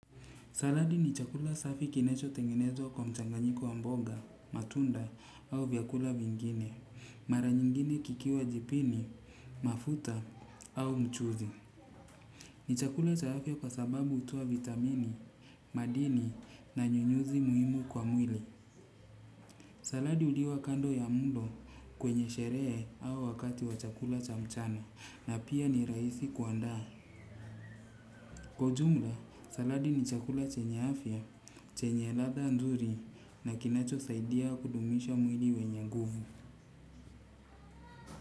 Saladi ni chakula safi kinachotengenezwa kwa mchanganyiko wa mboga matunda au vyakula vingine. Mara nyingine kikiwa jipini, mafuta au mchuzi. Ni chakula cha afya kwa sababu hutoa vitamini, madini na nyunyuzi muhimu kwa mwili. Saladi huliwa kando ya mlo kwenye sherehe au wakati wa chakula cha mchana na pia ni rahisi kuandaa. Kwa ujumla, saladi ni chakula chenye afya, chenye ladha nzuri na kinacho saidia kudumisha mwili wenye nguvu.